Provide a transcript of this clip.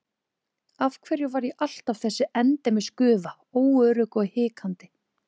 Af hverju var ég alltaf þessi endemis gufa, óörugg og hikandi?